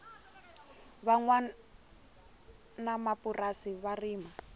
va nwanamapurasi va rima